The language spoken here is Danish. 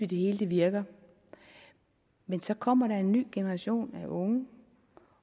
det hele virker men så kommer der en ny generation af unge